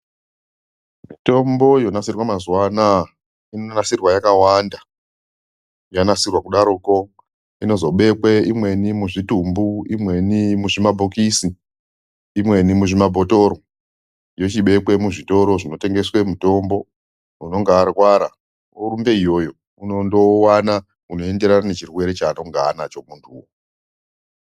Mitombo yonasirwa mazuwaanaya inonasirwa yakawanda yanasirwa kudaroko inozobekwe imweni muzvitumbu imweni mumabhokisi imweni muzvimabhotoro yochibekwe muzvitoro zvinotengese mitombo unenge arwara orumbe iyoyo unondowana unoenderana nechirwere chaanonga anacho .